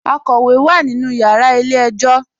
Àkọ́wé wá nínú yàrà ilẹ̀-ẹ̀jọ̀.